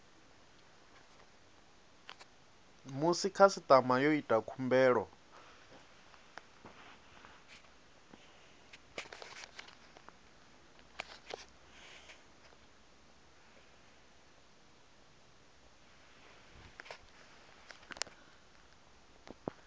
musi khasitama yo ita khumbelo